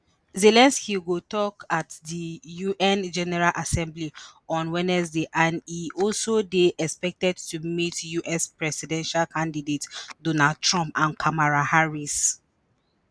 zelensky go tok at di un general assembly on wednesday and e also dey expected to meet us presidential candidates donald trump and kamala harris.